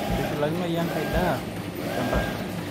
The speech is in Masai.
eitushulakinoyu enkae daa tolchamba